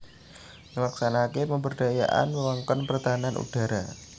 Nglaksanakaké pemberdayaan wewengkon pertahanan udhara